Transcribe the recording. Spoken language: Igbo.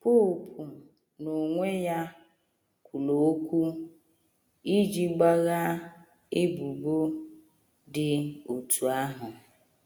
Popu n’onwe ya kwuru okwu iji gbaghaa ebubo dị otú ahụ.